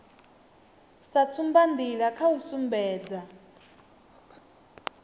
sa tsumbanḓila kha u sumbedza